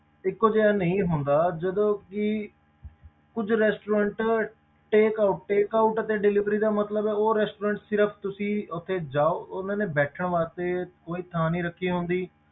ਇੱਕੋ ਜਿਹਾ ਨਹੀਂ ਹੁੰਦਾ ਜਦੋਂ ਕਿ ਕੁੱਝ restaurant take out take out ਤੇ delivery ਦਾ ਮਤਲਬ ਹੈ ਉਹ restaurant ਸਿਰਫ਼ ਤੁਸੀਂ ਉੱਥੇ ਜਾਓ ਉਹਨਾਂ ਨੇ ਬੈਠਣ ਵਾਸਤੇ ਕੋਈ ਥਾਂ ਨੀ ਰੱਖੀ ਹੁੰਦੀ,